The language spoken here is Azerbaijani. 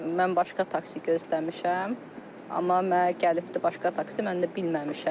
Mən başqa taksi gözləmişəm, amma mənə gəlibdir başqa taksi, mən də bilməmişəm.